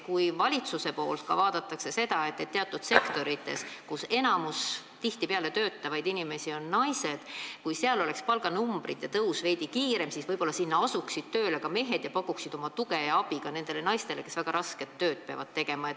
Kui valitsuse poolt vaadataks, et teatud sektorites, kus enamik töötavaid inimesi on tihtipeale naised, oleks palganumbrite tõus veidi kiirem, siis võib-olla asuksid sinna tööle ka mehed ning pakuksid oma tuge ja abi nendele naistele, kes peavad väga rasket tööd tegema.